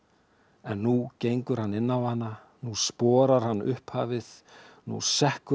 en nú gengur hann inn á hana nú hann upphafið nú sekkur hann